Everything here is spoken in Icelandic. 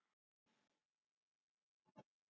Þetta minnir svolítið á vélbát.